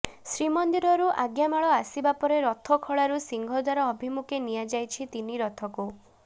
ଶ୍ରୀମନ୍ଦିରରୁ ଆଜ୍ଞାମାଳ ଆସିବା ପରେ ରଥଖଳାରୁ ସିଂହଦ୍ୱାର ଅଭିମୁଖେ ନିଆଯାଇଛି ତିନି ରଥକୁ